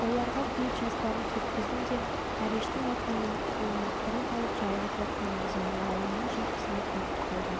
оларға кейіп жастарын сүрткіздім де әрештің атына мініп қолыма құрық алып жайылып жатқан мырзаның аулының жылқысына кетіп қалдым